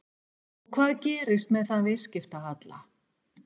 Og hvað gerist með þann viðskiptahalla?